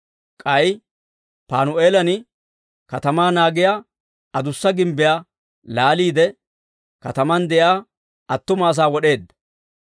K'ay Panu'eelan katamaa naagiyaa adussa gimbbiyaa laaliide, katamaan de'iyaa attuma asaa wod'eedda.